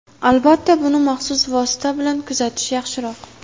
Albatta, buni maxsus vosita bilan kuzatish yaxshiroq.